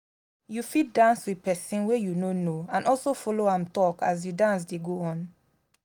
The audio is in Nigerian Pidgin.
you fit dance with persin wey you no know and also follow am talk as di dance de go on